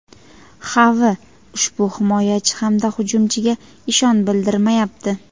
Xavi ushbu himoyachi hamda hujumchiga ishon bildirmayapti;.